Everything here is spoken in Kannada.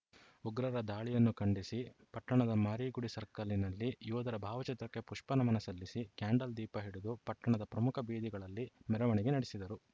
ಉಗ್ರರ ದಾಳಿಯನ್ನು ಖಂಡಿಸಿ ಪಟ್ಟಣದ ಮಾರಿಗುಡಿ ಸರ್ಕಲ್‌ನಲ್ಲಿ ಯೋಧರ ಭಾವಚಿತ್ರಕ್ಕೆ ಪುಷ್ಪ ನಮನ ಸಲ್ಲಿಸಿ ಕ್ಯಾಂಡಲ್‌ ದೀಪ ಹಿಡಿದು ಪಟ್ಟಣದ ಪ್ರಮುಖ ಬೀದಿಗಳಲ್ಲಿ ಮೆರವಣಿಗೆ ನಡೆಸಿದರು